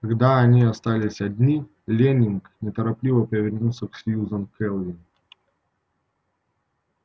когда они остались одни лэннинг нетерпеливо повернулся к сьюзен кэлвин